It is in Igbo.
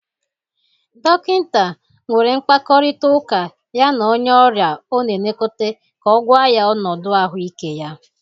Dokịnta nwere mkpakọrịtaụka ya na onye ọrịa ọ na-elekọta ka ọ gwa ya ọnụdụ ahụike ya.